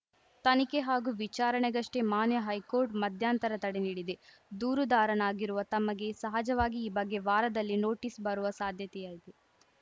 ತನಿಖೆ ಹಾಗೂ ವಿಚಾರಣೆಗಷ್ಟೇ ಮಾನ್ಯ ಹೈಕೋರ್ಟ್‌ ಮಧ್ಯಂತರ ತಡೆ ನೀಡಿದೆ ದೂರುದಾರನಾಗಿರುವ ತಮಗೆ ಸಹಜವಾಗಿ ಈ ಬಗ್ಗೆ ವಾರದಲ್ಲಿ ನೋಟೀಸ್‌ ಬರುವ ಸಾಧ್ಯತೆಯಿದೆ